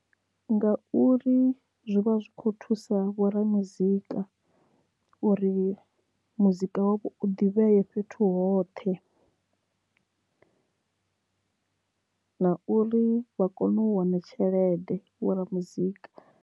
Nga uri zwi vha zwi kho thusa vho ra muzika uri muzika wa vho u ḓivhee fhethu hoṱhe na uri vha kone u wana tshelede vho ra muzika.